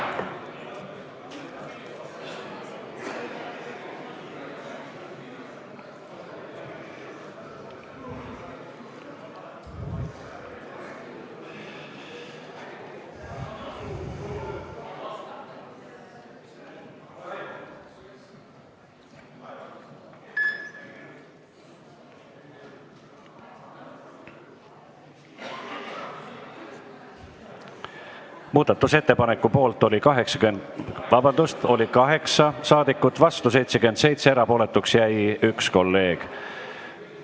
Hääletustulemused Muudatusettepaneku poolt oli 8 ja vastu 77 saadikut, erapooletuks jäi 1 kolleeg.